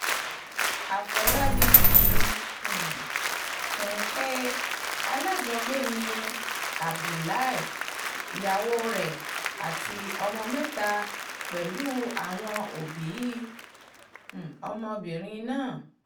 àfọlábí fi um kún un pé alájọgbé ni abdullahi ìyàwó rẹ̀ àti ọmọ mẹ́ta pẹ̀lú àwọn òbí um ọmọbìnrin náà